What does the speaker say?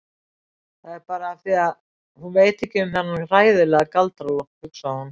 Það er bara af því að hún veit ekkert um þennan hræðilega Galdra-Loft, hugsaði hún.